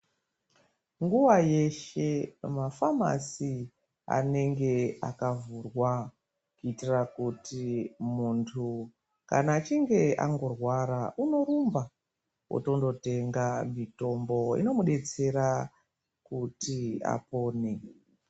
Nguwa yeshe mafamasi anenge akahvurwa kuitira kuti mundu kana achinge angorwara unorumba otondotenga mutombo unomudetsera kuti apone.